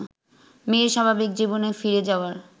মেয়ের স্বাভাবিক জীবনে ফিরে যাওয়ার